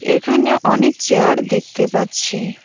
এখানে অনেক চেয়ার দেখতে পাচ্ছি।